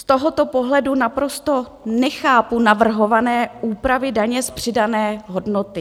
Z tohoto pohledu naprosto nechápu navrhované úpravy daně z přidané hodnoty.